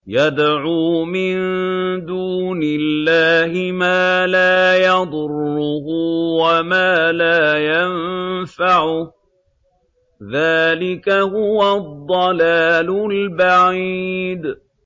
يَدْعُو مِن دُونِ اللَّهِ مَا لَا يَضُرُّهُ وَمَا لَا يَنفَعُهُ ۚ ذَٰلِكَ هُوَ الضَّلَالُ الْبَعِيدُ